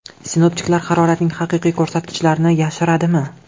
Sinoptiklar haroratning haqiqiy ko‘rsatkichlarini yashiradimi?